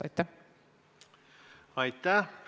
Aitäh!